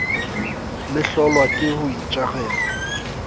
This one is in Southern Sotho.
le hlolwa ke ho itjarela